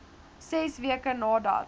ses weke nadat